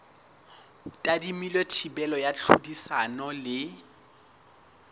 tadimilwe thibelo ya tlhodisano le